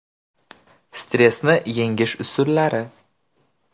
Stressni yengish usullari.